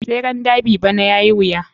Tseren derby bana yayai wuya.